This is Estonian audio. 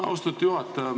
Austatud juhataja!